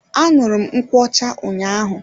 Anuru m nkwocha ụnyaahụ.